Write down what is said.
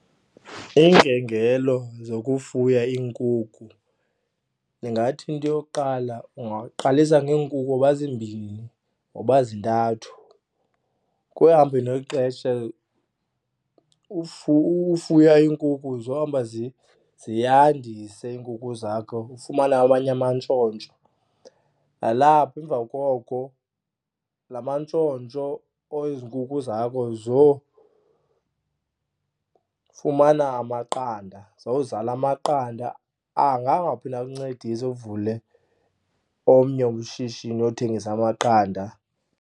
yokufuya iinkukhu ndingathi into yokuqala ungaqalisa ngeenkukhu noba zimbini noba zintathu. Ekuhambeni nexesha ufuya iinkukhu zohamba ziyandise iinkukhu zakho, ufumane amanye amantshontsho. Nalapho emva koko la mantshontsho ezi nkukhu zakho zofumana amaqanda, zozala amaqanda. Anga angaphinda akuncedise uvule omnye ushishini wothengisa amaqanda.